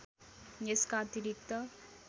यसका अतिरिक्त